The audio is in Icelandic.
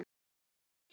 ert til!